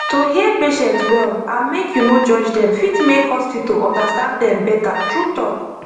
to hear patient well and make you no judge dem fit make hospital understand dem better true talk